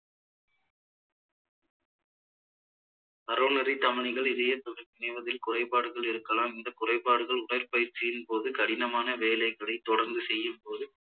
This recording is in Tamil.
coronary தமனிகள் இதய குறைபாடுகள் இருக்கலாம் இந்த குறைபாடுகள் உடற்பயிற்சியின் போது கடினமான வேலைகளை தொடர்ந்து செய்யும் போது